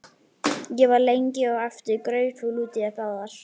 Ég var lengi á eftir grautfúl út í þær báðar.